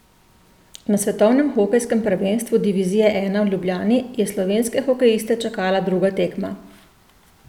Na svetovnem hokejskem prvenstvu divizije I v Ljubljani je slovenske hokejiste čakala druga tekma.